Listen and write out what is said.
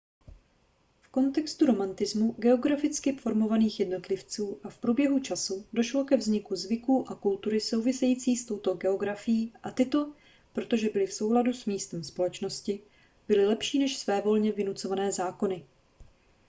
v kontextu romantismu geograficky formovaných jednotlivců a v průběhu času došlo ke vzniku zvyků a kultury související s touto geografií a tyto protože byly v souladu s místem společnosti byly lepší než svévolně vynucované zákony